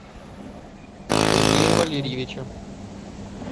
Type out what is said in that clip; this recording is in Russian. сергея валерьевича